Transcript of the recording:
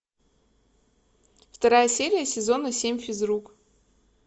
вторая серия сезона семь физрук